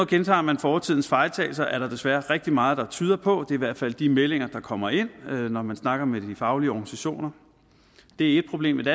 gentager man fortidens fejltagelser er der desværre rigtig meget der tyder på det er i hvert fald de meldinger der kommer ind når man snakker med de faglige organisationer det er ét problem et